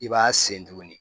I b'a sen tuguni